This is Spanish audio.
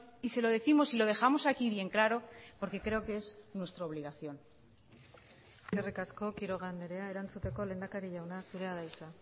y se lo décimos y lo dejamos aquí bien claro porque creo que es nuestra obligación eskerrik asko quiroga andrea erantzuteko lehendakari jauna zurea da hitza